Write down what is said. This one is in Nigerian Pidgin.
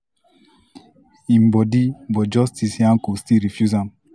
im body but justice nyako still refuse am.